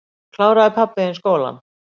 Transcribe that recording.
Kláraði pabbi þinn skólann?